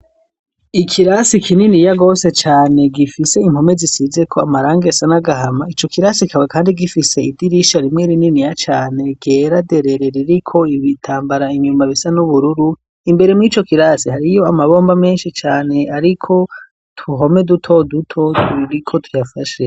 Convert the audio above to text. Ikirasi kinini ya gose cane gifise impome zisize ko amarangi asa n'agahama ico kirasi kikaba kandi gifise idirisha rimwe rininiya cane ryera derere ririko ibitambara inyuma bisa n'ubururu, imbere mw'co kirasi hariyo amabomba meshi cyane ariko utuhome duto duto turiko tuyafashe.